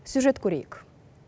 сюжет көрейік